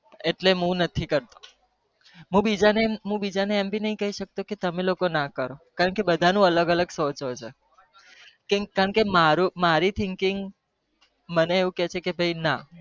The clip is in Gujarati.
એટલે મુ નથી કરતો હું બીજા ને અમ પણ નહી કહી સકતો ક કે તમે લોકો ન કરો